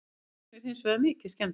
Bíllinn er hins vegar mikið skemmdur